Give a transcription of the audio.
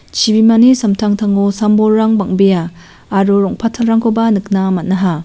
chibimani samtangtango sam bolrang bang·bea aro rong·pattalrangkoba nikna man·aha.